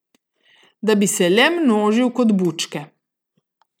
Da bi se le množil kot bučke.